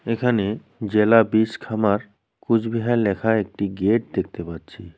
এখানে জেলা বীজ খামার কুচবিহার লেখা একটি গেট দেখতে পাচ্ছি।